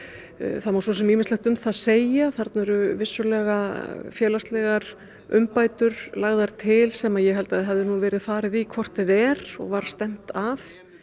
það má svo sem ýmislegt um það segja þarna eru vissulega félagslegar umbætur lagðar til sem ég held að hefði verið farið í hvort eð er og var stefnt að